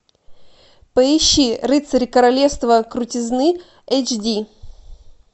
поищи рыцарь королевства крутизны эйч ди